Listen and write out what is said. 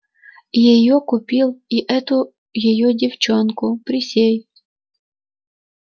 и её купил и эту её девчонку присей